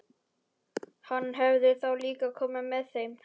Hann hefði þá líka komið með þeim.